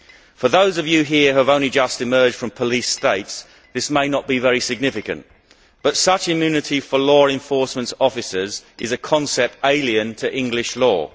For those of you here who have only just emerged from police states, this may not be very significant, but such immunity for law enforcement officers is a concept alien to English law.